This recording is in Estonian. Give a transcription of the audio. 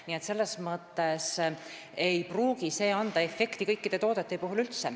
Nii et selles mõttes ei pruugi käibemaksu alandamine üldse anda efekti kõikide toodete puhul.